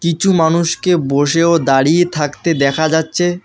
কিছু মানুষকে বসে ও দাঁড়িয়ে থাকতে দেখা যাচ্ছে।